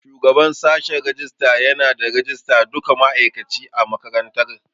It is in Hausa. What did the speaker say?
Shugaban sashen rajista yana da rajistar duka ma'aikaci a makarantar.